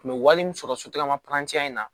Kun bɛ wale mun sɔrɔ sotigi ma in na